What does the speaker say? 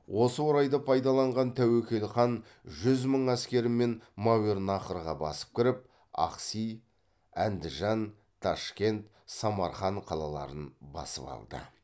осы орайды пайдаланған тәуекел хан жүз мың әскермен мәуернахрға басып кіріп ахси әндіжан ташкент самарқан қалаларын басып алды